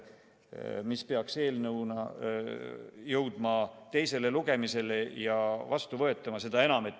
Eelnõuna peaks see ju jõudma teisele lugemisele ja seadusena vastu võetama.